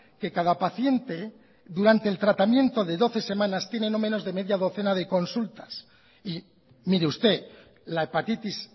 que cada paciente durante el tratamiento de doce semanas tiene no menos de media docena de consultas y mire usted la hepatitis